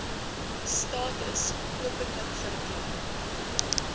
status openlik verklaar